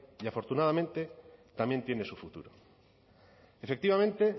y afortunadamente también tiene su futuro efectivamente